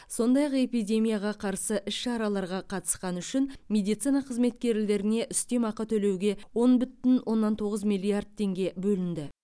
сондай ақ эпидемияға қарсы іс шараларға қатысқаны үшін медицина қызметкерлеріне үстемеақы төлеуге он бүтін оннан тоғыз миллиард теңге бөлінді